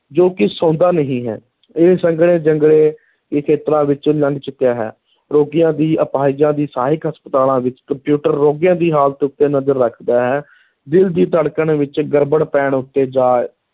ਜੋ ਕਿ ਸੌਂਦਾ ਨਹੀਂ ਹੈ, ਇਹ ਸੰਘਣੇ ਜੰਗਲੇ ਦੇ ਖੇਤਰਾਂ ਵਿੱਚੋਂ ਲੰਘ ਚੁੱਕਿਆ ਹੈ, ਰੋਗੀਆਂ ਦੀ ਅਪਾਹਿਜਾਂ ਦੀ ਸਹਾਇਕ ਹਸਪਤਾਲਾਂ ਵਿਚ ਕੰਪਿਊਟਰ ਰੋਗੀਆਂ ਦੀ ਹਾਲਤ ਉੱਤੇ ਨਜ਼ਰ ਰੱਖਦਾ ਹੈ, ਦਿਲ ਦੀ ਧੜਕਣ ਵਿੱਚ ਗੜਬੜ ਪੈਣ ਉੱਤੇ, ਜਾਂ